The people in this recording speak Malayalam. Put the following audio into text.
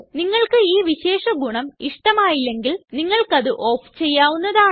നിങ്ങൾക്ക് ഈ വിശേഷ ഗുണം ഇഷ്ടമായില്ലെങ്കില് നിങ്ങള്ക്കത് ഓഫ് ചെയ്യാവുന്നതാണ്